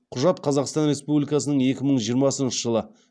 құжат қазақстан республикасының екі мың жиырмасыншы жылы